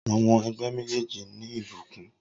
Awọn ẹgbẹ mejeeji ni ibukun